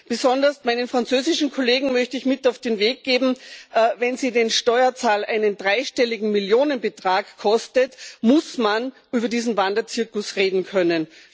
Besonders meinen französischen Kollegen möchte ich mit auf den Weg geben Wenn er den Steuerzahler einen dreistelligen Millionenbetrag kostet, muss man über diesen Wanderzirkus reden können.